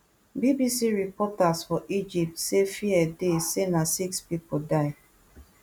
bbc reporters for egypt say fear dey say na six pipo die